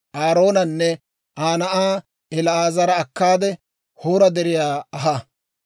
Aaroonanne Aa na'aa El"aazara akkaade, Hoora Deriyaa aha.